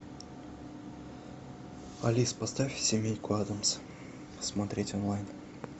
алиса поставь семейку адамс посмотреть онлайн